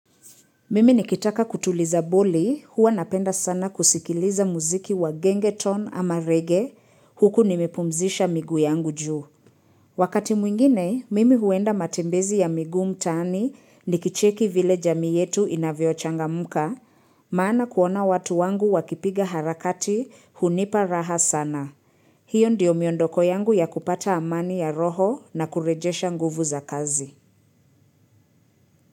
Mimi nikitaka kutuliza boli, huwa napenda sana kusikiliza muziki wa genge tone ama reggae huku nimepumzisha miguu yangu juu. Wakati mwingine, mimi huenda matembezi ya miguu mtaani nikicheki vile jamii yetu inavyochangamka, maana kuona watu wangu wakipiga harakati hunipa raha sana. Hiyo ndiyo miondoko yangu ya kupata amani ya roho na kurejesha nguvu za kazi.